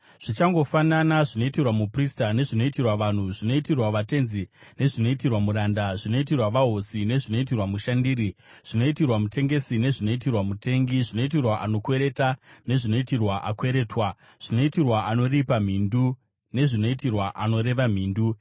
zvichangofanana, zvinoitirwa muprista nezvinoitirwa vanhu, zvinoitirwa vatenzi nezvinoitirwa muranda, zvinoitirwa vahosi nezvinoitirwa mushandiri, zvinoitirwa mutengesi nezvinoitirwa mutengi, zvinoitirwa anokwereta nezvinoitirwa akweretwa, zvinoitirwa anoripa mhindu nezvinoitirwa anoreva mhindu.